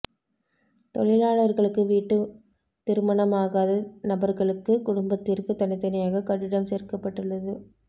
தொழிலாளர்களுக்கு வீட்டு திருமணமாகாத நபர்களுக்கு குடும்பத்திற்கு தனித்தனியாக கட்டிடம் சேர்க்கப்பட்டுள்ளது